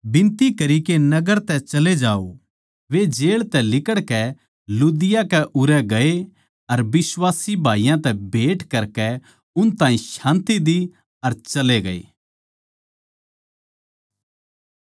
वे जेळ तै लिकड़कै लुदिया कै उरै गये अर बिश्वासी भाईयाँ तै भेँट करकै उन ताहीं शान्ति देई अर चले गये